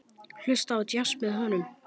Hlusta á djass með honum.